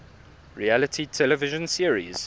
reality television series